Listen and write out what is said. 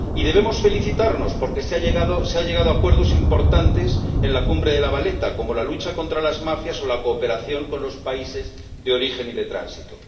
Y debemos felicitarnos porque se ha llegado a acuerdos importantes en la cumbre de La Valeta, como la lucha contra las mafias o la cooperación con los países de origen y de tránsito.